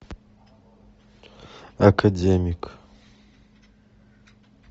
академик